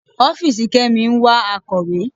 Ọ́fìsì Kemi ń wá akọ̀wé.